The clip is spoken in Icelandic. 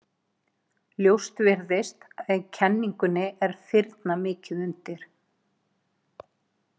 Ljóst virðist að í kenningunni er firna mikið undir.